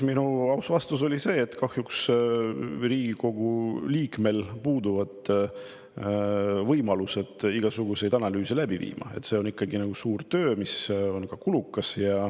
Minu aus vastus oli see, et kahjuks puuduvad Riigikogu liikmel võimalused analüüse läbi viia, see on ikkagi suur töö, mis on ka kulukas.